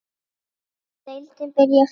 Má deildin byrja bara?